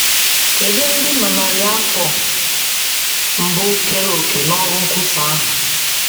Kedụ ndị na narị afọ mbụ keere òkè n’ọrụ nkwusa ahụ?